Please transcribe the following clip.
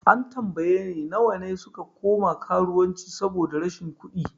An tambaye ni nawa ne suka koma karuwanci saboda rashin kudi?